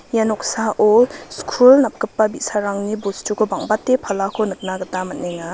ia noksao skul napgipa bi·sarangni bostuko bang·bate palako nikna gita man·enga.